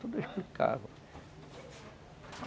Tudo explicava.